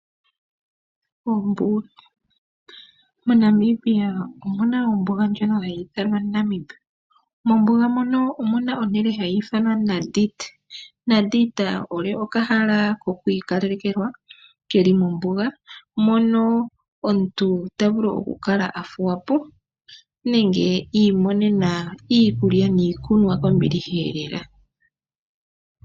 Ombuga, moNamibia omuna ombuga ndjoka hayi ithanwa Namib, mombuga mono omuna ehala nlyono ha li ithanwa Nadita, Nadita oko okala hono ka ikalelekelwa ke li mombuga mono omuntu tavulu oku kala athuwapo nenge iimonena iikulya niikunwa kombiliha lela.